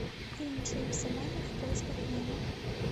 фильм джеймса вана в поисках немо